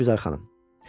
İşgüzər xanım.